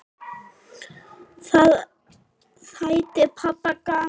Það þætti pabba gaman.